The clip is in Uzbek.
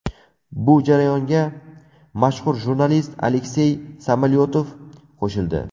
Bu jarayonga mashhur jurnalist Aleksey Samolyotov qo‘shildi.